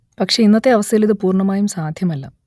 പക്ഷെ ഇന്നത്തെ അവസ്ഥയിൽ ഇത് പൂർണമായും സാധ്യമല്ല